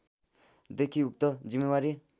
देखि उक्त जिम्मेवारी